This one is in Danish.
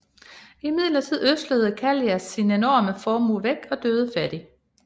Imidlertid ødslede Kallias sin enorme formue væk og døde fattig